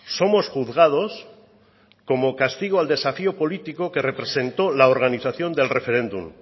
somos juzgados como castigo al desafío política que representó la organización del referéndum